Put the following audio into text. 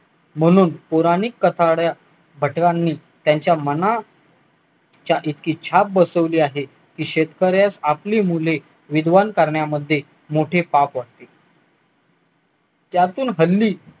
म्हणून पुराणिक कठड्या त्यांच्या मना च्या इच्छा बसवली आहे की शेतकऱ्यास आपली मुले विद्वान करण्यामध्ये यातून हल्ली